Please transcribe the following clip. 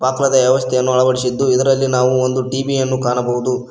ವ್ಯವಸ್ಥೆಯನ್ನು ಅಳವಡಿಸಿದ್ದು ಇದರಲ್ಲಿ ನಾವು ಒಂದು ಟಿ_ವಿ ಯನ್ನು ಕಾಣಬಹುದು.